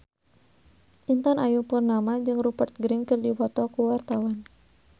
Intan Ayu Purnama jeung Rupert Grin keur dipoto ku wartawan